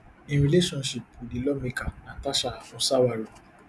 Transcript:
im relationship wit di lawmaker natasha osawaru